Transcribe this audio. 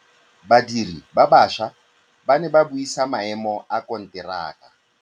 Badiri ba baša ba ne ba buisa maêmô a konteraka.